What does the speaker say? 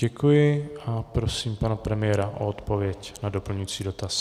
Děkuji a prosím pana premiéra o odpověď na doplňující dotaz.